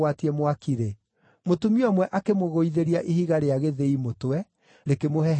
mũtumia ũmwe akĩmũgũithĩria ihiga rĩa gĩthĩi mũtwe, rĩkĩmũhehenja mũtwe.